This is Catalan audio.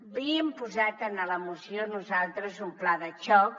havíem posat en la moció nosaltres un pla de xoc